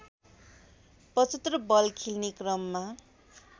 ७५ ball खेल्ने क्रममा